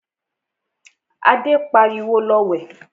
Adé pariwo, 'Lọ wẹ̀'